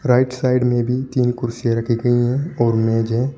Right side में भी तीन कुर्सियां रखी गई हैं और मेज है।